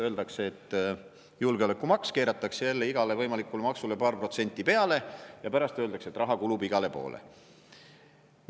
Öeldakse, et julgeolekumaks, keeratakse jälle igale võimalikule maksule paar protsenti peale, ja pärast öeldakse, et raha kulub igale poole.